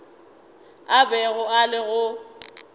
a bego a le go